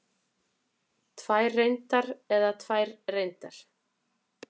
Tvær reyndar eða tvær reyndar?